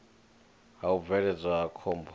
ha u bvelela ha khombo